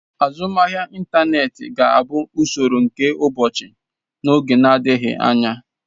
Azụmahịa ịntaneti ga-abụ usoro nke ụbọchị n'oge adịghị anya.